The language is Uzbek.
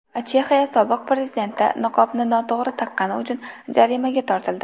Chexiya sobiq prezidenti niqobni noto‘g‘ri taqqani uchun jarimaga tortildi.